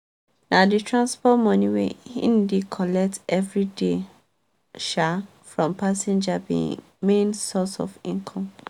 na the transport money wey he dey collect every day um from passenger be him main source of income.